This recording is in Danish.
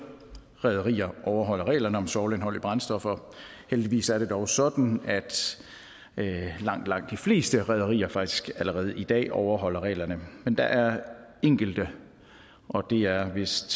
rederier overholder reglerne om svovlindhold i brændstoffer heldigvis er det dog sådan at langt langt de fleste rederier faktisk allerede i dag overholder reglerne men der er enkelte og det er vist